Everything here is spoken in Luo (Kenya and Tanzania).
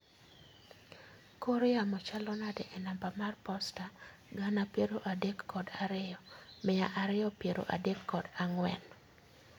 Kor yamo chalo nade e namba mar posta gana piero adek kod ariyo, mia ariyo piero adek kod ang'wen